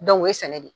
o ye sɛnɛ de ye